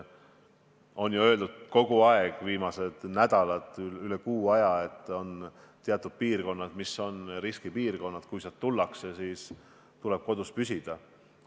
On ju viimastel nädalatel üle kuu aja kogu aeg öeldud, et teatud piirkonnad on riskipiirkonnad ja kui sealt tullakse, siis tuleb püsida kodus.